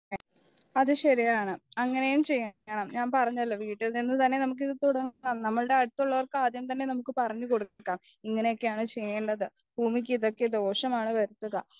അത് ശെരിയാണ് അങ്ങനെയും ചെയ്യണം ഞാൻ പറഞ്ഞല്ലോ വീട്ടിൽനിന്ന് തന്നെ നമ്മൾക്ക് ഇത് തുടങ്ങണം നമ്മളുടെ അടുത്തുള്ളവർക്ക് ആദ്യം തന്നെ നമ്മുക്ക് പറഞ്ഞുകൊടുക്കാം ഇങ്ങനെയൊക്കെയാണ് ചെയ്യേണ്ടത് ഭൂമിക്ക് ഇതൊക്കെ ദോഷമാണ് എന്നോർക്കുക